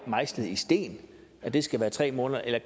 mejslet i sten at det skal være tre måneder eller